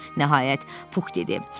"Nəhayət," Pux dedi.